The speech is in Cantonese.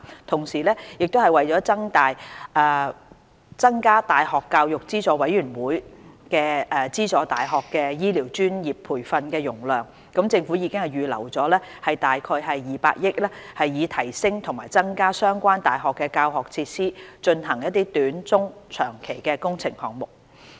同時，為了增加大學教育資助委員會資助大學的醫療專業培訓容量，政府已預留約200億元，以提升和增加相關大學的教學設施，進行短、中及長期的工程項目。